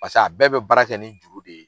Pasek'a bɛɛ bɛ bara kɛ ni juru de ye.